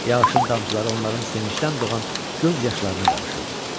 Yağışın damcıları onların sevincdən doğan göz yaşlarına qarışırdı.